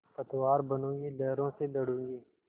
पतवार बनूँगी लहरों से लडूँगी